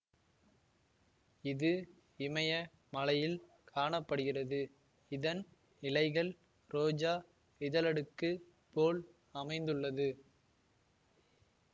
இது இமய மலையில் காண படுகிறது இதன் இலைகள் ரோஜா இதழடுக்கு போல் அமைந்துள்ளது